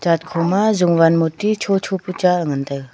Church khoma jowan moty cho cho pa cha ngan taiga.